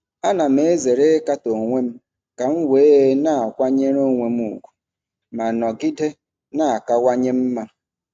Ana m ezere ịkatọ onwe m ka m wee na-akwanyere onwe m ùgwù ma nọgide na-akawanye mma.